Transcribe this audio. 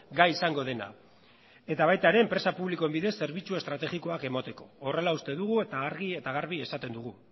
gai izango dena eta baita ere enpresa publikoen bidez zerbitzu estrategikoak emateko horrela uste dugu eta argi eta garbi esaten dugu